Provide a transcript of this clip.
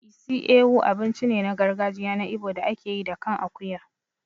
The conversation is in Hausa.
Isi Ewu abinci ne na gargajiya na Igbo da ake yi da kan akuya.